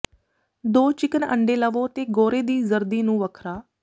ਦੋ ਚਿਕਨ ਅੰਡੇ ਲਵੋ ਤੇ ਗੋਰੇ ਦੀ ਜ਼ਰਦੀ ਨੂੰ ਵੱਖਰਾ